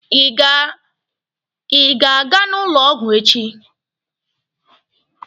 Ị ga-aga n'ụlọ ọgwụ echi?